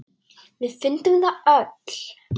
Við fundum það öll.